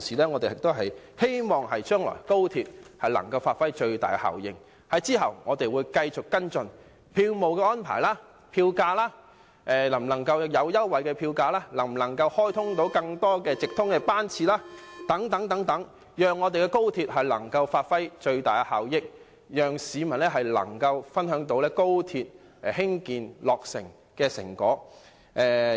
我們希望高鐵將來可以發揮最大效益，我們會繼續跟進票務安排和票價，例如可否提供票價優惠、可否開通更多直通班次等，以期高鐵發揮最大效益，讓市民分享高鐵落成的成果。